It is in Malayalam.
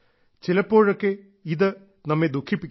ചിലപ്പോഴൊക്കെ ഇത് നമ്മെ ദുഃഖിപ്പിക്കുന്നു